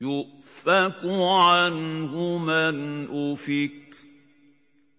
يُؤْفَكُ عَنْهُ مَنْ أُفِكَ